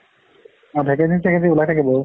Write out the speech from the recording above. vacancy চেকেন্সী ওলাই থাকে বহুত।